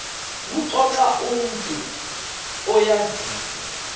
kuxoxa umntu oyaziyo